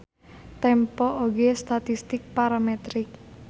Tempo oge statistik parametrik.